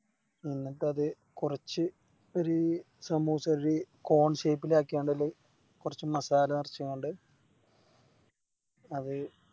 എന്നിട്ടത് കുറച്ച് ഒര് സമൂസോര് കോൺ Shape ലാക്കി ആയിന്റുള്ളില് കൊർച്ച് Masala നർച്ചിയങ്ങട് അത്